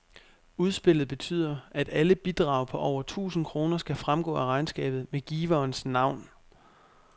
Udspillet betyder, at alle bidrag på over tusind kroner skal fremgå af regnskabet med giverens navn.